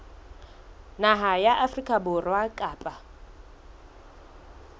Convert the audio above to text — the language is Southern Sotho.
naha ya afrika borwa kapa